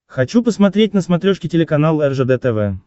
хочу посмотреть на смотрешке телеканал ржд тв